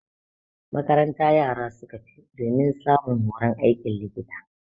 Makaranta yara suka tafi domin samun horon aikin likita.